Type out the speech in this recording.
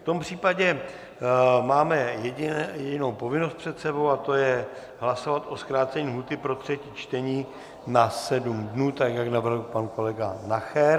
V tom případě máme jedinou povinnost před sebou, a to je hlasovat o zkrácení lhůty pro třetí čtení na sedm dnů, tak jak navrhl pan kolega Nacher.